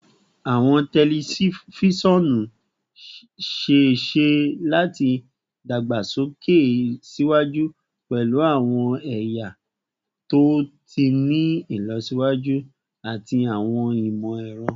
Awọn tẹlifisiọnu ṣee ṣe lati dagbasoke siwaju pẹlu awọn ẹya to ti ni ilọsiwaju ati awọn imọ-ẹrọ